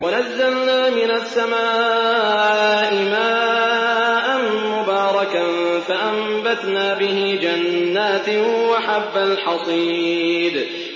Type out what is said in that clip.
وَنَزَّلْنَا مِنَ السَّمَاءِ مَاءً مُّبَارَكًا فَأَنبَتْنَا بِهِ جَنَّاتٍ وَحَبَّ الْحَصِيدِ